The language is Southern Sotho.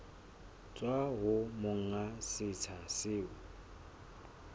tswa ho monga setsha seo